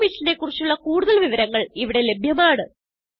ഈ മിഷനെ കുറിച്ചുള്ള കുടുതൽ വിവരങ്ങൾ ഇവിടെ ലഭ്യമാണ്